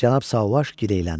Cənab Sauvage gileyləndi: